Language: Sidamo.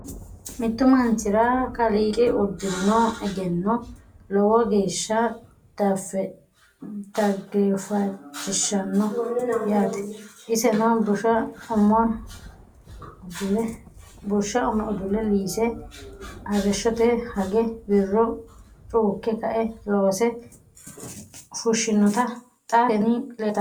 Mittu manchira kaaliqi udirinno egenno lowo geeshsha dageeffachishshanno yaatte isenno bushsha ume ,udule, liisse, arishshotte hage, wirro cuukke kae loose fushinnotte xa tinni leelittanni nootti